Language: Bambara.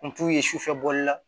Kun t'u ye sufɛ bɔli la